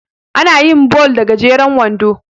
ana yin ball da gajeren wando